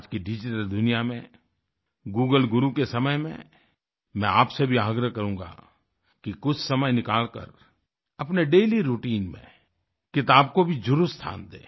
आज की डिजिटल दुनिया में गूगल गुरु के समय में मैं आपसे भी आग्रह करूँगा कि कुछ समय निकालकर अपने डेली राउटाइन में किताब को भी जरुर स्थान दें